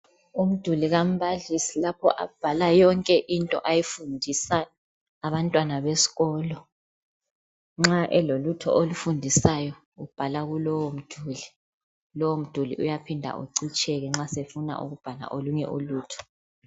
Umduli kambalisi lapho abhala khona yonke into ayifundisa abantwana besikolo. Nxa elolutho alufundisayo ubhala kulowo mduli. Lowo mduli uyaphinda ucitsheke nxa esefuna ukubhala olunye ulutho.